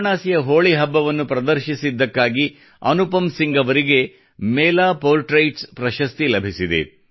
ವಾರಣಾಸಿಯ ಹೋಳಿ ಹಬ್ಬವನ್ನು ಪ್ರದರ್ಶಿಸಿದ್ದಕ್ಕಾಗಿ ಅನುಪಮ್ ಸಿಂಗ್ ಅವರಿಗೆ ಮೇಲಾ ಪೊರ್ಟ್ರೇಟ್ಸ್ ಪ್ರಶಸ್ತಿ ಲಭಿಸಿದೆ